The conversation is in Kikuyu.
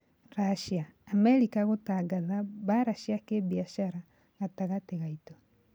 Russia: Amerika gũtangatha "mbara cia kĩbiashara " gatagatĩ gaitũ